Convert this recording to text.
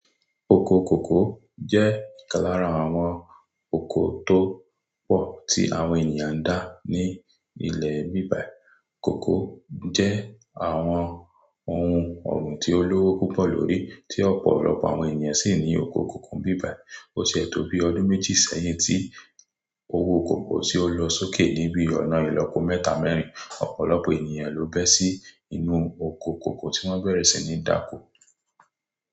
Oko kòkó jẹ́ ìkan lára àwọn oko tó pọ̀ tí àwọn ènìyàn ń dá ní ilẹ̀ bíbà. Cocoa jẹ́ àwọn ohun ọ̀gbìn tí ó lówó púpọ̀ lórí, tí ọ̀pọ̀lọpọ̀ àwọn ènìyàn sì ní oko cocoa bíbà. Ó ṣe é tó bí ọdún méjì sẹ́yìn tí owó kòkó tí ó lọ sókè níbi ọ̀nà ìlópo mẹ́ta mẹ́rin. Ọ̀pọ̀lọpọ̀ ènìyàn ló bẹ́ sí inú oko kòkó tí wọ́n bẹ̀rẹ̀ sí ní dáko.